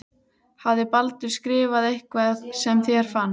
Hafði Baldur skrifað eitthvað sem þér fannst.